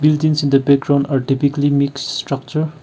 it is in the background or typically mix structure.